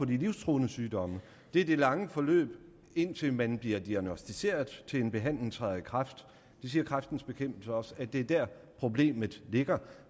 de livstruende sygdomme er det lange forløb indtil man bliver diagnosticeret så en behandling træder i kraft det siger kræftens bekæmpelse også at det er der problemet ligger